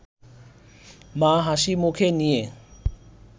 মা হাসি মুখে নিয়ে